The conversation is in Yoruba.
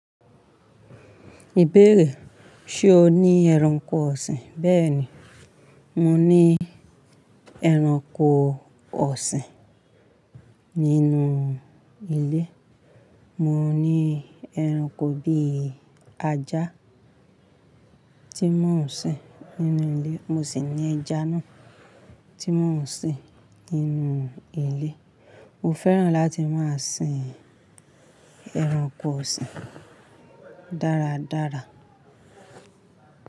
Ìbéèrè, ṣe o ní ẹranko ọ̀sìn? Bẹ́ẹ̀ni, mo ní ẹranko ọ̀sìn nínú ilé. Mo ní ẹranko bíi ajá tí mò ń sìn nínú ilé, mo sì ní ẹja náà tí mò ń sìn nínú ilé. Mo fẹ́ràn láti máa sìn ẹranko ọ̀sìn dáradára.